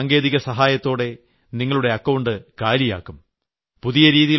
എന്നിട്ട് സാങ്കേതിക സഹായത്തോടെ നിങ്ങളുടെ അക്കൌണ്ട് കാലിയാക്കും